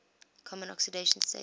common oxidation state